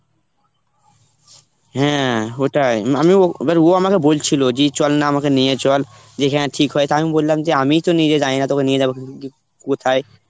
হ্যাঁ, ওটাই অম~ ও মানে ও আমাকে বলছিল যে চল না আমাকে নিয়ে চল যেখানে ঠিক হয় তা আমি বললাম যে আমিই তো নিজে জানি না তোকে নিয়ে যাব কোথায়